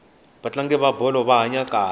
vatlangi va bolo va hanya kahle